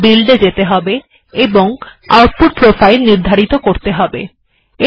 তাই বিল্ড এ যেতে হবে এবং আউটপুট প্রোফাইল নির্ধারিত করতে হবে